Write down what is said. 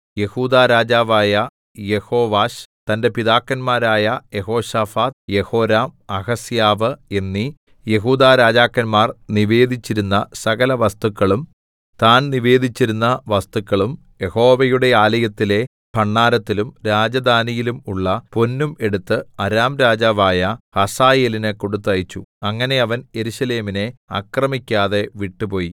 യെഹൂദാ രാജാവായ യെഹോവാശ് തന്റെ പിതാക്കന്മാരായ യെഹോശാഫാത്ത് യെഹോരാം അഹസ്യാവ് എന്നീ യെഹൂദാരാജാക്കന്മാർ നിവേദിച്ചിരുന്ന സകലവസ്തുക്കളും താൻ നിവേദിച്ചിരുന്ന വസ്തുക്കളും യഹോവയുടെ ആലയത്തിലെ ഭണ്ഡാരത്തിലും രാജധാനിയിലും ഉള്ള പൊന്നും എടുത്ത് അരാം രാജാവായ ഹസായേലിന് കൊടുത്തയച്ചു അങ്ങനെ അവൻ യെരൂശലേമിനെ ആക്രമിക്കാതെ വിട്ടുപോയി